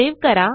save करा